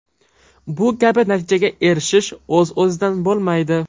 Bu kabi natijaga erishish o‘z-o‘zidan bo‘lmaydi.